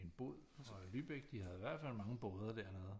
En bod for Lübeck de havde i hvert fald mange boder dernede